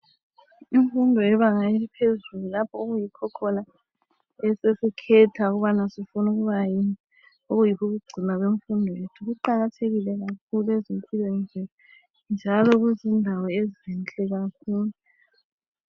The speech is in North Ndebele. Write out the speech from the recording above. Imfundo yebanga eliphezulu lapho okuyikho osokukhethwa ukubana sifuna ukuba yini kuqakathekile kakhulu ezimpilweni zethu njalo